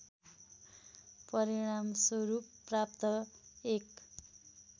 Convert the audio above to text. परिणामस्वरूप प्राप्त एक